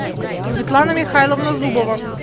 светлана михайловна зубова